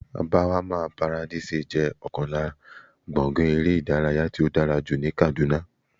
Barmawa paradise jẹ́ ọ̀kan lára gbọ̀ngán eré ìdárayá tí ó dára jù ní Kàdúná